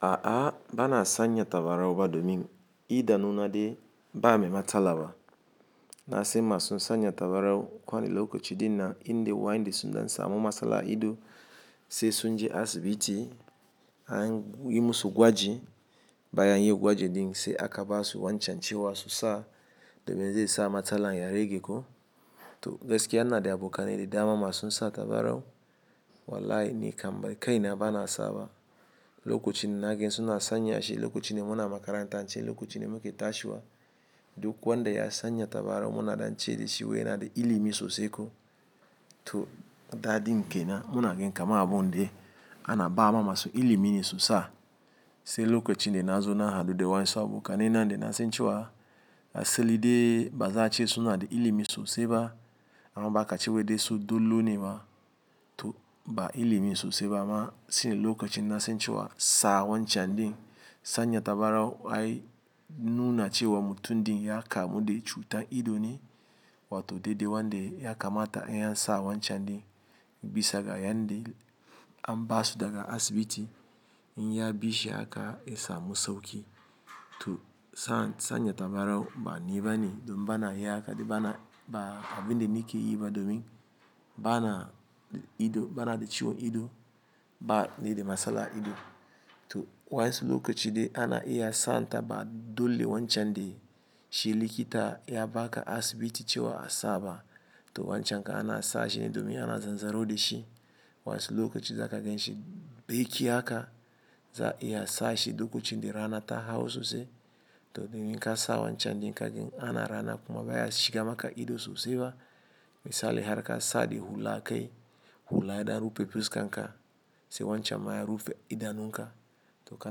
A'a, ba na sanya tabarau ba domin idan nuna de ba a mai matsala ba. Na sai masu sanya tabarau kwana lokaci din na, in dai waindi sunza sa mu masala ido sai sun je asibiti. An yi musu gwaji baya an yi gwaji din sai aka ba su wancan ciwa su sa domin zai sa matalan ya rage ko. To gaskiya ina da abokanai da dama masu sata barau. Wallahi ni kam bari kai na ba na saba. Lokacin na gen suna sanya shi, lokacin mu na makaranta an ci, lokacin mu ke tashiwa duk wanda ya sanya tabarau mu na danci da shi waye na da ilimi sosai ko. To, daɗi n ke na. Mu na gen kama abun de ana ba ma masu ilimi sosai. Sai lokacin de na zo na haɗu da wain su abokanai na de na san cewa, asali de ba za a ce suna da ilimi sosai ba, amma ba ka ciwade su dole ne ma, to ba ilimi sosai ba amma sune lokacin na san cewa sa wancan din sanya tabarau ai nuna cewa mutum din ya kamu da cutar ido ne. Wato dai dai wanda ya kamata an sa wancan din, bisa ga yan din an ba su daga asibiti. In ya bishi haka, ya samu sauƙi. To sa, sanya tabarau ba ni ba ne domin ba na iya haka de ba na, ba abin de ni ke yi ba domin ba na ido, ba na da ciwon ido ba, ni da masala ido. To wainsu lokaci de ana iya sa ta ba dole wancan de shi likita ya ba ka asibiti cewa a sa ba. To wancan ka ana sa shi ne domin ana zanzaro da shi. Wainsu lokaci za ka gen shi baiki haka, za iya sa shi duk lokacin de rana ta hau sosai. To, domin ka sa wancan din ka gen ana rana kuma baya shiga maka ido sosai ba. Misali har ka sadi hula kai, hula ya da rufe fuska ka, sai wancan ma ya rufe idanun ka. To ka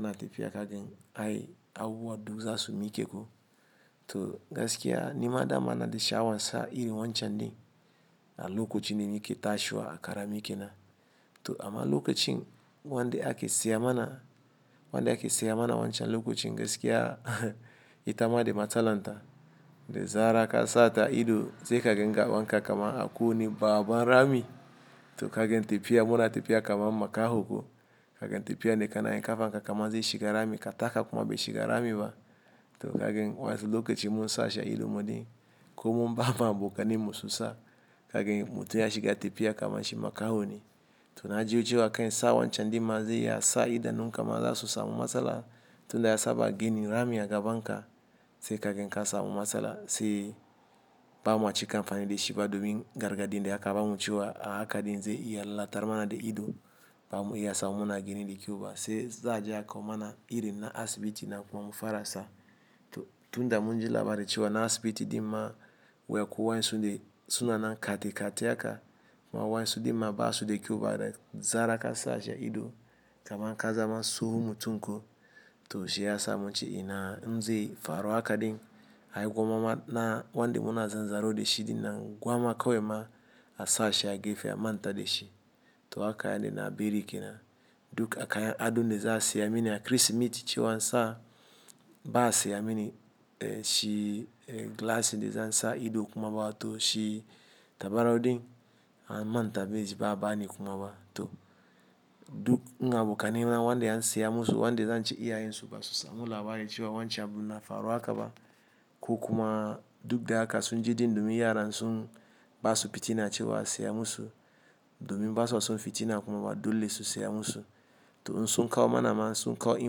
na tafiya ka gen ai abu wadda za su miike ko. To gaskiya, ni ma dama na da sha'awan sa iri wancan din a lokacin ni ke tashiwa a kara mi ke na. To amma lokacin wanda ake siya mana, wanda ake siya mana wancan lokacin gaskiya ita ma da matalanta, da zarar ka sata ido sai ka gen ga wanka kaman aku ne baban rami. To ka gen tafiya mu na tafiya kaman makaho ko. Ka gen tafiya ne ka na yin kafa ka kamar zai shiga rami ka taka kuma bai shiga rami ba. To ka gen wainsu lokacin mu sa shi ido muɗi ko mu bama abokanin mu sosai. Ka gen mutum ya shiga tafiya kaman shi makaho ne. To na ji wucewa kai sa wancan din ma zai iya sa idanun ka ma za su samu masala. Tun da ya saba gini rami ya gaban ka, sai ka gen ka samu masala sai bamaci kamfanin de shi ba domin gargaɗin de ya ka ba mu cewa a haka din zai iya lattar mana de ido. Ba mu iya sa mu nuna gini de kyau ba sai za a je a kawo mana iri na asibiti na kwana farasai. To tun da mun ji labari cewa na asibiti din ma wa yaku wain su de suna nan kati kati haka, kuma wain su din ma ba su da kyau ba da zarar ka sa shi ido kaman ka zama tsohon mutum ko. To shi ya samu mun ce ina nze faro haka din ai gwama ma na wanda mu na zanzaro da shi din na gwama kawai ma a sa shi a gefe a manta da shi. To haka yana na bari ke na. Duk a kayan adon de za a siya mini a Kirsimeti cewa sa bas a mini, eh shi eh glasses de zan sa ido kuma ba wa to shi tabarau din an manta bai ji ba a bani kuma ba. To duk ina abokanai na wanda an siya musu wanda zan ce iya yin su ba sosai. Mun ji labari cewa wancan abun na faro haka ba ko kuma duk da haka sun ji din domin yara sun ba su fitina cewa a siya musu. Domin ba su son fitina kuma ba dole su siya musu. To in sun kawo mana ma, sun kawo yi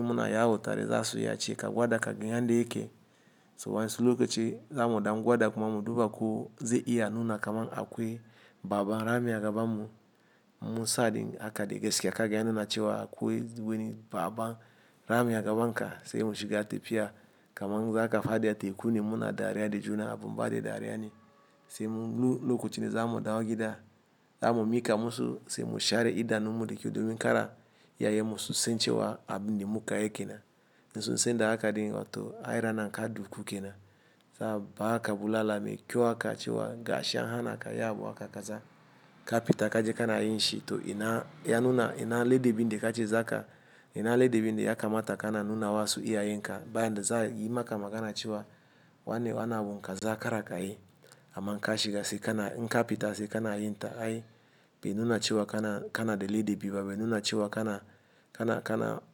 mun a yawo tare za su yi a ce ka gwada ka gen yan da yake. So wainsu lokaci za mu ɗauki gwada kuma mu duba ko zai iya nuna kaman akwai baban rami ya gaban mu. Mu sa din haka de gaskiya ka gen yana na cewa akwai gwiwanin baban rami ya gaban ka sai mu shiga tafiya kaman za ka fadi a teku ne mu na dariya da juna a bumba de dariya ne. Sai mu nu-- lokacin de za mu ɗauka gida, za mu miika musu sai mu share idanun mu de kyau domin kara ya yi musu sain cewa abin de mu ka yake na. In sun san da haka din to ai rana kan dukku ke na. Sa ba haka bulala mai kyau aka cewa gashi an hana ka yi abu haka ka za ka fita ka je ka na yin shi. To ina ya nuna ina leɗen bin de ka ci zaka ina leɗen bin de ya kamata ka na nuna wa su iya yin haka. Bayan da za yi maka magana cewa wane yana a binka za a kara ka yi. Amma in ka shiga sai ka na in ka fita sai ka na yin ta ai bai nuna cewa ka na, ka na da lede bi ba bai nuna cewa ka na, ka na, ka na.